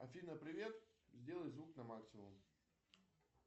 афина привет сделай звук на максимум